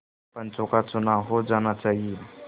पंचों का चुनाव हो जाना चाहिए